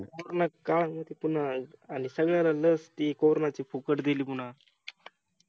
पूर्ण काळ तिथूनच काम सुरू झालं सगळ्यांना CORONA त लस फुकट दिली पुन्हा